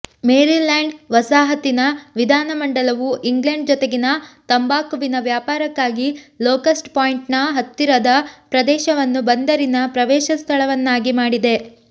Maryland ವಸಾಹತಿನ ವಿಧಾನ ಮಂಡಲವು ಇಂಗ್ಲೆಂಡ್ ಜೊತೆಗಿನ ತಂಬಾಕುವಿನ ವ್ಯಾಪಾರಕ್ಕಾಗಿ ಲೊಕಸ್ಟ್ ಪಾಯಿಂಟ್ನ ಹತ್ತಿರದ ಪ್ರದೇಶವನ್ನು ಬಂದರಿನ ಪ್ರವೇಶಸ್ಥಳವನ್ನಾಗಿ ಮಾಡಿದೆ